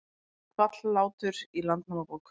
Nefnt Hvallátur í Landnámabók.